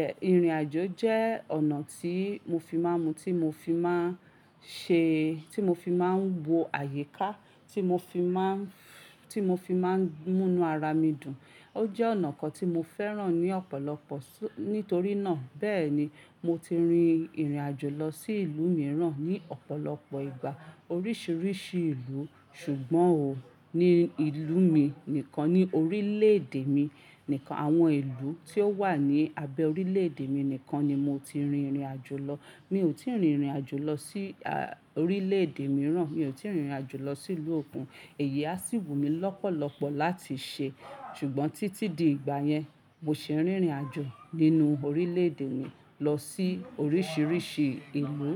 Ẹ̀, ìrìn-àjò jẹ́ ọ̀nà tí mo fi máa n mú tí mo fi máa ń ṣe, tí mo fi máa ń wo àyíká, tí mo fi máa ń, tí mo fi máa ń mú inú ara mi dùn. Ó jẹ́ ọ̀nà kan tí mo fẹ́ràn ní ọ̀pọ̀lọpọ̀ su-- nítorí náà. Bẹ́ẹ̀ ni, mo ti rin ìrìn-àjò lọ sí ìlú mìíràn ní ọ̀pọ̀lọpọ̀ ìgbà, oríṣìíríṣìí ìlú. Ṣùgbọ́n ò, ní ìlú mi nìkan, ní orílẹ̀-èdè mi nìkan, àwọn ìlú tí ó wà ní abẹ́ orílẹ̀-èdè mi nìkan ni mo ti rin ìrìn-àjò lọ. Mi ò tíì rin ìrìn-àjò lọ sí, a, orílẹ̀-èdè mìíràn, mi ò tíì rin ìrìn-àjò lọ sí ìlú òkun. Èyí á sì wù mí lọ́pọ̀lọpọ̀ láti ṣe, ṣùgbọ́n títí di ìgbà yẹn, mo sì rin ìrìn-àjò nínú orílẹ̀-èdè mi lọ sí oríṣìíríṣìí ìlú.